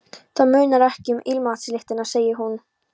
Það munar ekki um ilmvatnslyktina, segir hún.